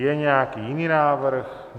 Je nějaký jiný návrh?